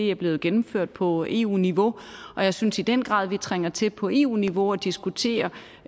er blevet gennemført på eu niveau jeg synes i den grad at vi trænger til på eu niveau at diskutere